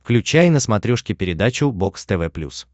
включай на смотрешке передачу бокс тв плюс